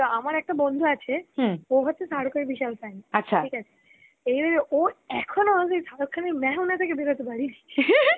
আমার একটা বন্ধু আছে ও হচ্ছে শারুখ এর বিশাল fan ঠিক আছে এবার ওর এখনও শারুখ খান এর মায় হু না দেখে